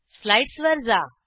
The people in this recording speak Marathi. स्लाईडसवर जा